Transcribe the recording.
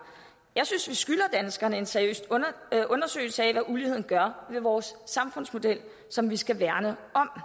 jeg synes vi skylder danskerne en seriøs undersøgelse af hvad uligheden gør ved vores samfundsmodel som vi skal værne om